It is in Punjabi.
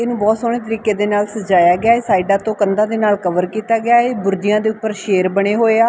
ਇਹਨੂੰ ਬਹੁਤ ਸੋਹਣੇ ਤਰੀਕੇ ਦੇ ਨਾਲ ਸਜਾ ਸਜਾਇਆ ਗਿਆ ਹ ਸਾਈਡਾਂ ਤੋਂ ਕੰਧਾਂ ਦੇ ਨਾਲ ਕਵਰ ਕੀਤਾ ਗਿਆ ਬੁਰਜਿਆਂ ਦੇ ਉੱਪਰ ਸ਼ੇਰ ਬਣੇ ਹੋਏ ਆ।